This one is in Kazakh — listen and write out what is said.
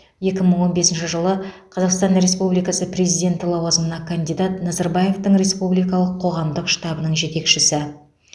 екі мың он бесінші жылы қазақстан республикасы президенті лауазымына кандидат назарбаевтың республикалық қоғамдық штабының жетекшісі